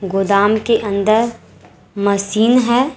गोदाम के अंदर मशीन है।